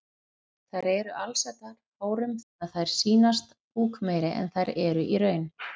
Þær eru alsettar hárum þannig að þær sýnast búkmeiri en þær eru í raun.